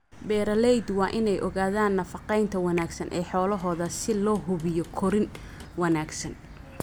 Beeralaydu waa inay ogaadaan nafaqaynta wanaagsan ee xoolahooda si loo hubiyo korriin wanaagsan.